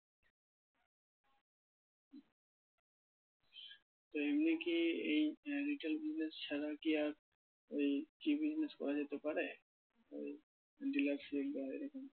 তো এমনি কি এই আহ retail business ছাড়া কি আর ওই কি business করা যেতে পারে ওই dealership বা এরকম।